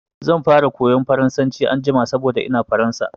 Zan fara koyan Faransanci anjima saboda ina Faransa.